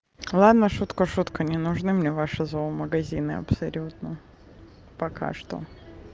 ладно шутка шутка не нужны мне ваши зоомагазины абсолютно пока что